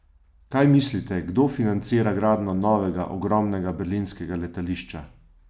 Kaj mislite, kdo financira gradnjo novega, ogromnega berlinskega letališča?